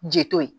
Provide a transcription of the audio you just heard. Ji to ye